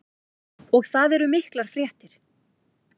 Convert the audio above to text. Og það eru miklar fréttir.